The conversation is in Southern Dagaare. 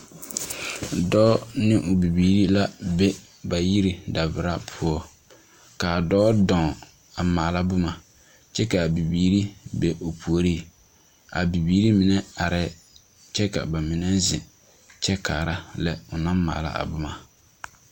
Dͻͻ ne o bibiiri la be ba yiri davoro poͻ, kaa dͻͻ dͻͻŋ a maala boma kyԑ ka a bibiiri be o puoriŋ. A bibiiri mine arԑԑ kyԑ ka ba mine zeŋ kyԑ kaara a lԑ o naŋ maala a boma.